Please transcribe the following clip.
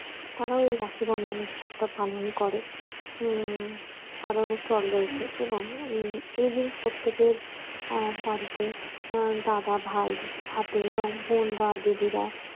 তারা এই রাখি বন্ধন উৎসবটা পালন করে উম আরো অনেক চল রয়েছে এবং এই দিন প্রত্যেকে বাড়িতে দাদাভাই হাতে এবং বোনরা দিদিরা